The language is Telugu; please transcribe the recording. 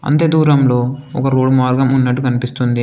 అంతే దూరంలో ఒక రోడ్ మార్గం ఉన్నట్టు కనిపిస్తుంది.